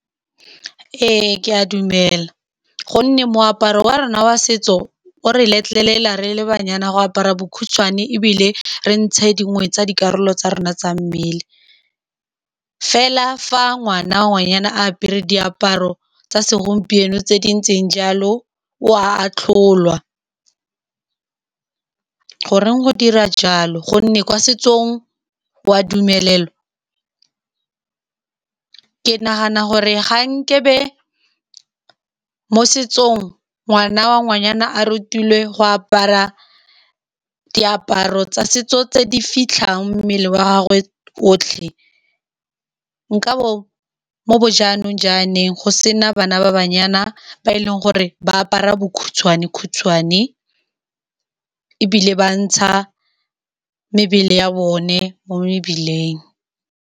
Ee ke a dumela, ka gonne moaparo wa rona wa setso o re letlelela, re le banyana, go apara bokhutshwane ebile re ntshe dingwe tsa dikarolo tsa rona tsa mmele. Fela fa ngwana wa ngwanyana a apere diaparo tsa segompieno tse di ntseng jalo, o a atlholwa. Goreng go dirwa jalo, ka gonne kwa setsong wa dumelelwa. Ke nagana gore ga nkabe mo setsong ngwana wa ngwanyana a rutilwe go apara diaparo tsa setso tse di fitlhang mmele wa gagwe otlhe. Nkabo mo bo jaanong go sena bana ba banyana ba e leng gore ba apara bokhutshwane-khutshwane ebile ba ntsha mebele ya bone mo mebileng.